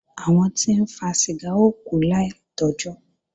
Àwọn tí ń fa ṣìgá ó kú láì tọ́jọ́